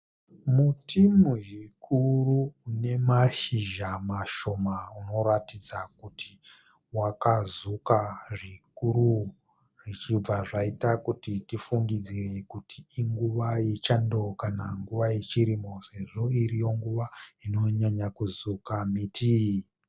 Muti muzhikuru une mashizha mashoma unoratidza kuti wakazuka zvikuru zvichibva zvaita kuti tifungidzire kuti inguva yechando kana kuti yechirimo sezvo iringuva inonyanyo kuzuka miti.